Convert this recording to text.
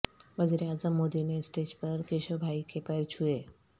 وزیراعظم مودی نے اسٹیج پر کیشو بھائی کے پیر چھوئے